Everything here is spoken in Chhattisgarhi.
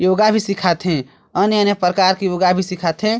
योगा भी सिखाथे अन्य-अन्य प्रकार के योगा भी सिखा थे।